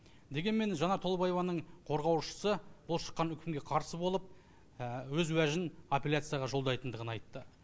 дегенмен жанар толыбаеваның қорғаушысы бұл шыққан үкімге қарсы болып өз уәжін аппеляцияға жолдайтындығын айтты